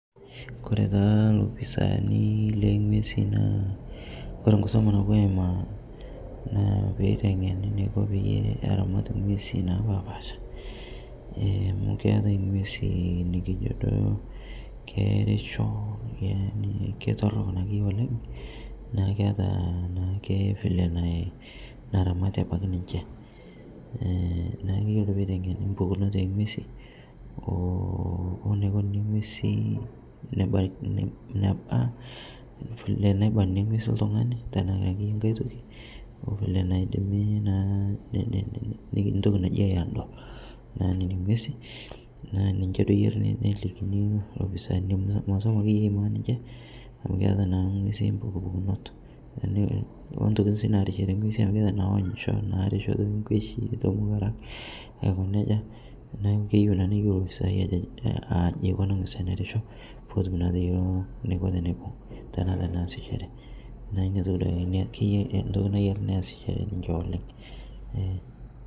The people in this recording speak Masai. Oore taa ilopisani long'wesi naa oore enkisoma napuo aimaa naa peyie eiteng'eni eneiko peyie eramat ing'wesi napaasha, amuu keetae ing'wesi naarisho naa ketorok naake oleng niaku keeta naake vile naramati abaiki ninche niaku iyiolo peyie eiteng'eni impukunot oo ng'wesi, weneikoni tenebaki ng'wesi.